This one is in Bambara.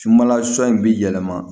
Subaga son in bɛ yɛlɛma